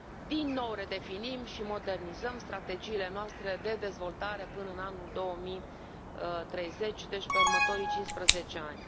Din nou redefinim și modernizăm strategiile noastre de dezvoltare până în anul 2030, deci pe următorii cincisprezece ani.